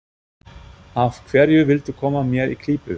Af hverju viltu koma mér í klípu?